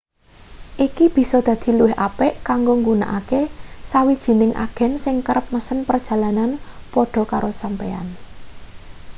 iki bisa dadi luwih apik kanggo nggunakake sawijining agen sing kerep mesen perjalanan padha karo sampeyan